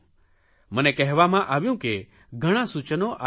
મને કહેવામાં આવ્યું કે ઘણાં સૂચનો આવી રહ્યાં છે